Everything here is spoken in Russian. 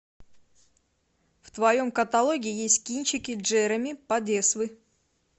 в твоем каталоге есть кинчики джереми подесвы